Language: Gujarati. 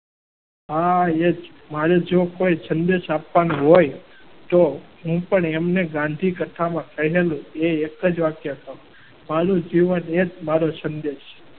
હા હા એ જ મારે જો કોઈ સંદેશ આપવાનો હોય તો હું પણ એમને ગાંધી કથામાં કહેલું. એ એક જ વાક્ય મારું જીવન એ જ મારો સંદેશ.